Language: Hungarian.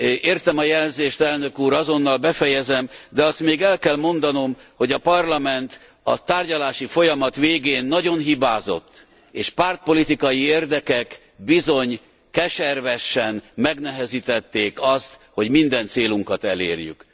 Értem a jelzést elnök úr, azonnal befejezem, de azt még el kell mondanom, hogy a Parlament a tárgyalási folyamat végén nagyon hibázott, és pártpolitikai érdekek bizony keservesen megnehezítették azt, hogy minden célunkat elérjük.